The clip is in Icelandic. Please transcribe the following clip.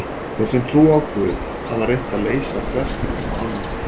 Þeir sem trúa á Guð hafa reynt að leysa þverstæðuna á annan hátt.